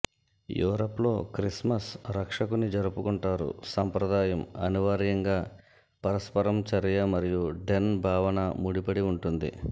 Europe లో Christmas రక్షకుని జరుపుకుంటారు సంప్రదాయం అనివార్యంగా పరస్పరం చర్య మరియు డెన్ భావన ముడిపడి ఉంటుంది